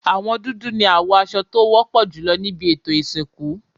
Àwọn dúdú ni àwọ aṣọ tí ó wọ́pọ̀ jùlọ níbí ètò ìsìnkú.